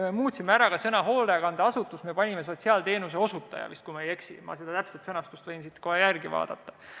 Me muutsime ära ka sõna "hoolekandeasutus", panime "sotsiaalteenuse osutaja" – vist oli sedasi, kui ma ei eksi, ma võin täpse sõnastuse siit kohe järele vaadata.